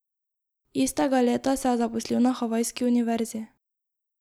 Istega leta se je zaposlil na havajski univerzi.